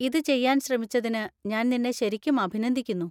ഇത് ചെയ്യാൻ ശ്രമിച്ചതിന് ഞാൻ നിന്നെ ശരിക്കും അഭിനന്ദിക്കുന്നു.